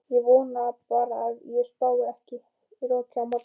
Ég vona bara að það spái ekki roki á morgun.